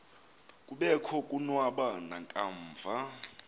kobekho konwaba nakamva